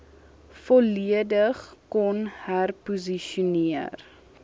volledig kon herposisioneer